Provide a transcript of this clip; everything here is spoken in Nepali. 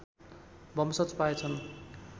वंशज पाए छन्